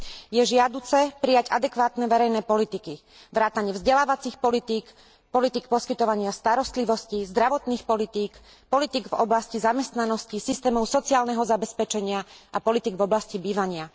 Je žiaduce prijať adekvátne verejné politiky vrátane vzdelávacích politík, politík poskytovania starostlivosti, zdravotných politík, politík v oblasti zamestnanosti, systémov sociálneho zabezpečenia a politík v oblasti bývania.